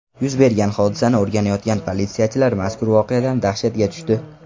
Yuz bergan hodisani o‘rganayotgan politsiyachilar mazkur voqeadan dahshatga tushdi.